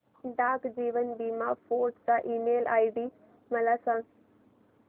डाक जीवन बीमा फोर्ट चा ईमेल आयडी मला सांग